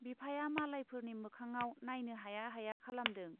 बिफाया मालायफोरनि मोखाङाव नाइनो हाया हाया खालामदों।